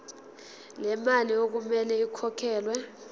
lemali okumele ikhokhelwe